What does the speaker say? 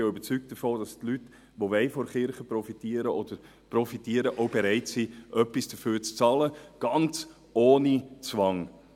Ich bin auch davon überzeugt, dass die Leute, die von der Kirche profitieren wollen, auch bereit sind, etwas dafür zu bezahlen, ganz ohne Zwang.